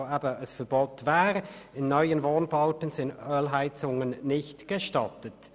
«In neuen Wohnbauten sind Ölheizungen nicht gestattet.